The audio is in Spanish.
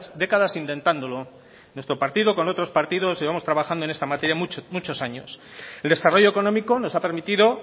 décadas intentándolo nuestro partido con otros partidos llevamos trabajando en esta materia muchos años el desarrollo económico nos ha permitido